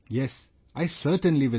Yes, I certainly will do